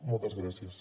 moltes gràcies